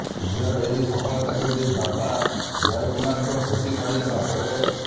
ଝିଅର ଏହି ସଫଳତାକୁ ନେଇ ବାପା ଜୟ କୁମାରଙ୍କ ଖୁସି କହିଲେ ନ ସରେ